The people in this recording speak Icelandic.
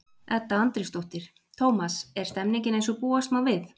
Edda Andrésdóttir: Tómas, er stemningin eins og búast má við?